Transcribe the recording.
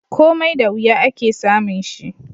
Komai da wuya, ake samun shi